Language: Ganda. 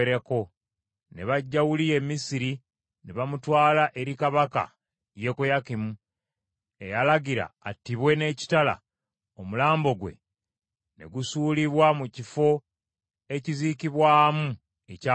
ne baggya Uliya e Misiri ne bamutwala eri kabaka Yekoyakimu, eyalagira attibwe n’ekitala omulambo gwe ne gusuulibwa mu kifo ekiziikibwamu ekya lukale.